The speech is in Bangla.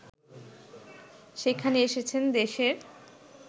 সেখানে এসেছেন দেশের